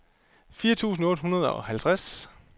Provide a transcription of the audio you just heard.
firs tusind otte hundrede og halvtreds